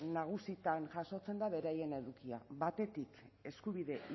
nagusitan jasotzen da beraien edukia batetik eskubide